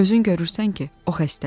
Özün görürsən ki, o xəstədir.